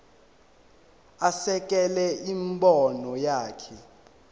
asekele imibono yakhe